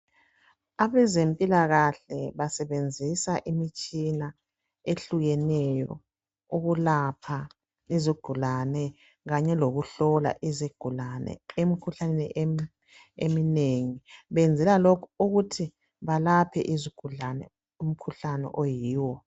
Abezempilakahle basebenzisa imitshina ehlukeneyo ukulapha izigulane kanye lokuhlola izigulane emikhuhlaneni eminengi .Benzela lokhu ukuthi balaphe izigulane umkhuhlane oyiwo.